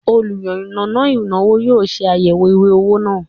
oluyannana inawo yoo se ayewo iwe owo naa